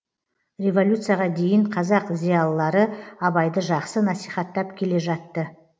революцияға дейін қазақ зиялылары абайды жақсы насихаттап келе жатты